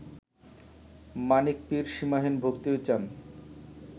মানিক পীর সীমাহীন ভক্তি চান